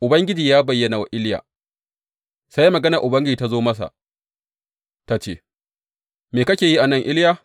Ubangiji ya bayyana wa Iliya Sai maganar Ubangiji ta zo masa, ta ce, Me kake yi a nan, Iliya?